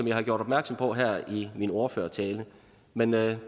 jeg har gjort opmærksom på her i min ordførertale men det